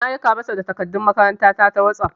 Na aika ma shi da takardun makaranta na ta wosof.